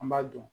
An b'a dun